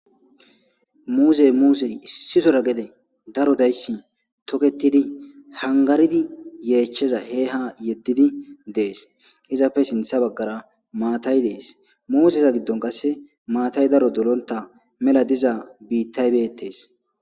muuzey muuzey issisora gede daro dayssi toketidi hangaridi yeechcheza he ha yeddidi dees izapfe sintha baggara maatay dees musesa giddon qasse maatay daro dolonta mela diza biittaybeettees